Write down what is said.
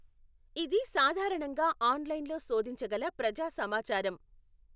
ఇది సాధారణంగా ఆన్లైన్లో శోధించగల ప్రజా సమాచారం.